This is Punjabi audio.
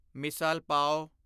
ਮਿਸਾਲ ਪਾਵ